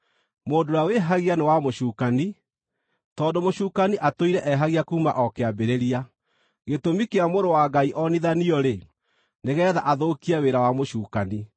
Mũndũ ũrĩa wĩhagia nĩ wa mũcukani, tondũ mũcukani atũire ehagia kuuma o kĩambĩrĩria. Gĩtũmi kĩa Mũrũ wa Ngai onithanio-rĩ, nĩgeetha athũkie wĩra wa mũcukani.